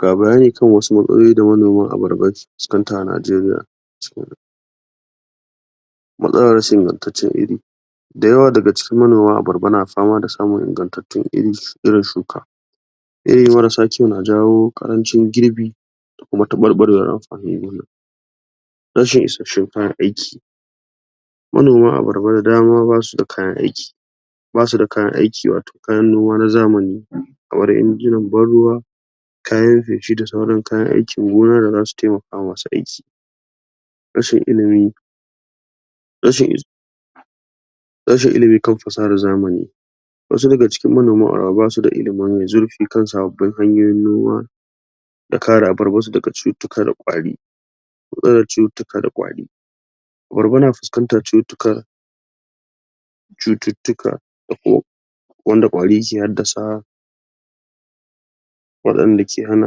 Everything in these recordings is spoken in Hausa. Ga bayani kan wasu matsaloli da manoman abarba suke fuskanta a Najeriya mastalar rashin ingantaccen iri da yawa daga cikin manoma abarba na fama da samun ingantattun irin shuka iri marasa kyau na jawo ƙarancin girbi kuma taɓarɓarewar amfanin gona rashin isasshin kayan aiki manoma abarba da dama ba su da kayan aiki ba su da kayan aiki wato kayan noma na zamani kamar injinan ban ruwa kayan feshi da sauran kayan aikin gona da za su taimaka masu aiki rashin ilmi rashin? rashin ilmi kan fasahar zamani wasu daga cikin manoma basu da ilmi mai zurfi kan sababbin hanyoyin noma da kare abarbarsu da cututtuka da ƙwari matsalar cututtuka da ƙwari abarba na fuskantar cututtukan cututtuka da kuma wanda ƙwari ke haddasawa waɗanda ke hana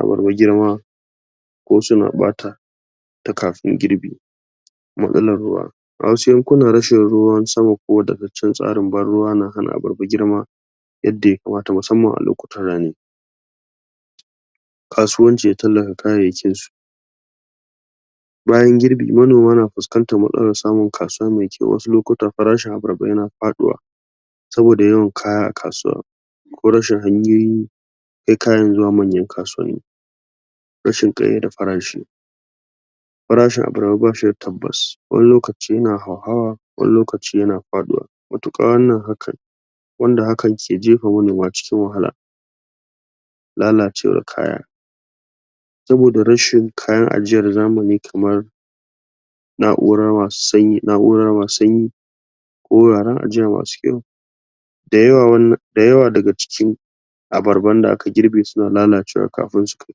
abarba girma ko suna ɓata ta kafin girbi matsalar ruwa a wasu yankuna rashin ruwan sama ko ingantaccen tsarin ban ruwa na hana abarba girma yadda yakamata musamman a lokutan rani kasuwancin ta kayayyakin su bayan girbi manoma na fuskantar matsalar samun kasuwa mai kyau wasu lokuta farashin abarba yana faɗuwa saboda yawan kaya a kasuwa ko rashin hanyoyi kai kayan zuwa manyan kasuwanni rashin ƙayyade farashi farashin abarba ba shi da tabbas wani lokacin yana hauhawa wani lokacin yana faɗuwa matuƙa wannan hakane wanda hakan ke jefa manoma cikin wahala lalacewar kaya sabida rashin kayan ajiya na zamani kamar na'urar sanyi? na'urar sanyi wuraren ajiya masu kyau da yawa daga cikin abarban da aka girbe suna lalacewa kafin su kai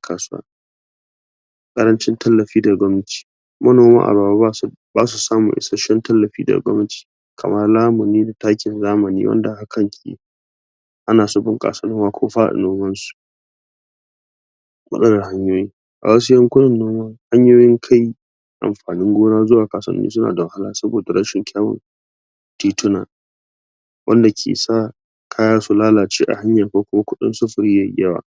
kasuwa ƙarancin tallafi daga gwamnati manoma abarba ba su da? ba su samun isasshen tallafi daga gwamnati kamar lamunin takin zamani wanda hakan ke ana son?? ko fara noman su matsalar hanyoyi a wasu yankunan hanyoyin kai amfanin gona zuwa kasuwanni suna da wahala saboda rashin kyawun tituna wanda ke sa kaya su lalace a hanya ko kuma kuɗin sufuri yayi yawa??